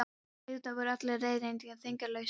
Og auðvitað voru allar leiðréttingar þýðingarlausar.